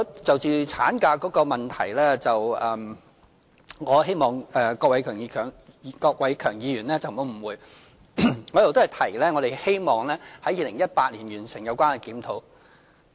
就着產假的問題，我希望郭偉强議員不要誤會，我一直都是說希望在2018年完成有關檢討。